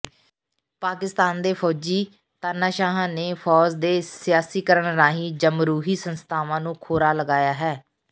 ਪਾਕਿਸਤਾਨ ਦੇ ਫ਼ੌਜੀ ਤਾਨਾਸ਼ਾਹਾਂ ਨੇ ਫ਼ੌਜ ਦੇ ਸਿਆਸੀਕਰਨ ਰਾਹੀਂ ਜਮਹੂਰੀ ਸੰਸਥਾਵਾਂ ਨੂੰ ਖੋਰਾ ਲਗਾਇਆ ਹੈ